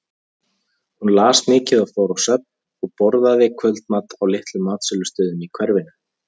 Hún las mikið og fór á söfn og borðaði kvöldmat á litlum matsölustöðum í hverfinu.